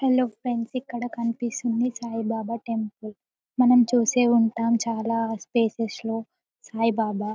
hello friends ఇక్కడ కనిపిస్తుంది Saibaba temple మనం చూసే ఉంటాం చాలా ప్లేసెస్ లో సాయిబాబా--